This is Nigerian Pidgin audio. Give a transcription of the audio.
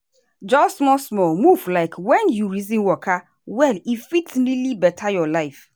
just small-small moves like when you reason waka well e fit really better your life.